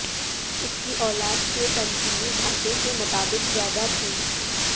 اس کی اولاد کے تنظیمی ڈھانچے کے مطابق زیادہ تھیں